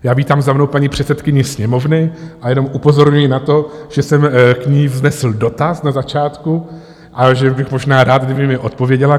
Já vítám za mnou paní předsedkyni Sněmovny a jen upozorňuji na to, že jsem k ní vznesl dotaz na začátku a že bych možná rád, kdyby mi odpověděla...